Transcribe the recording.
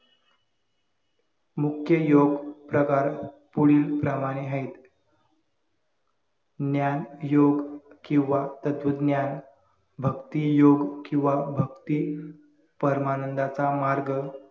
मुख्य योग प्रकार पुढील प्रमाणे आहेत ज्ञान, योग किंवा तत्वज्ञान भक्तीयुग किंवा भक्ती परमानंदाचा मार्ग